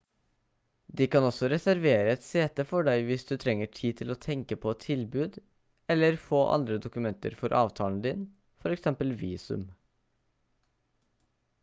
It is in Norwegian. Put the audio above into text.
de kan også reservere et sete for deg hvis du trenger tid til å tenke på et tilbud eller få andre dokumenter for avtalen din for eksempel visum